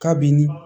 Kabini